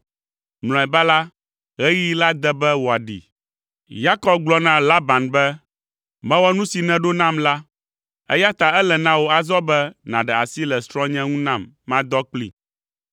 Mlɔeba la, ɣeyiɣi la de be wòaɖee. Yakob gblɔ na Laban be, “Mewɔ nu si nèɖo nam la, eya ta ele na wò azɔ be nàɖe asi le srɔ̃nye ŋu nam madɔ kplii.”